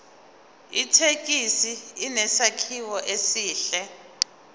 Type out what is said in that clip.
ithekisi inesakhiwo esihle